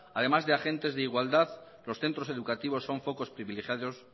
además de agentes de igualdad los centros educativos son focos privilegiados